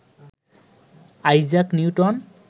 Isaac Newton